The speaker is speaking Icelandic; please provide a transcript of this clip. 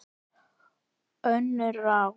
Önnur ráð